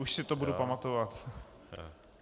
Už si to budu pamatovat.